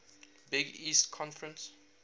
big east conference